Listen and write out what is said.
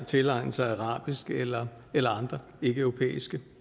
tilegne sig arabisk eller eller andre ikkeeuropæiske